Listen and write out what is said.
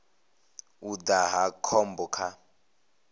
u daha hu khombo kha